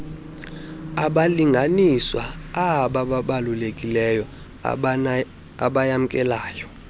wabalinganiswa abaabalulekileyo abayamkelayo